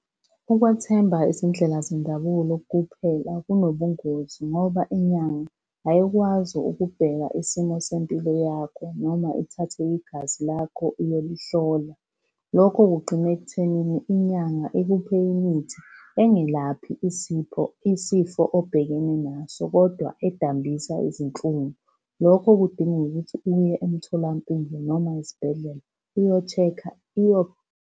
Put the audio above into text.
Ukwethemba izindlela zendabulo kuphela kunobungozi ngoba inyanga ayikwazi ukubheka isimo sempilo yakho noma ithathe igazi lakho iyolihlola. Lokho kugcina ekuthenini inyanga ikuphe imithi engelaphi isipho, isifo obhekene naso, kodwa edambisa izinhlungu. Lokho kudinga ukuthi uye emtholampilo noma esibhedlela uyo-check-a .